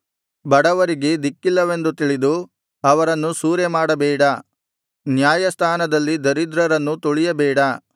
ಬಡವರಿಗೆ ದಿಕ್ಕಿಲ್ಲವೆಂದು ತಿಳಿದು ಅವರನ್ನು ಸೂರೆ ಮಾಡಬೇಡ ನ್ಯಾಯಸ್ಥಾನದಲ್ಲಿ ದರಿದ್ರರನ್ನು ತುಳಿಯಬೇಡ